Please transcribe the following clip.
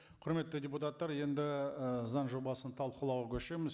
құрметті депутаттар енді ы заң жобасын талқылауға көшеміз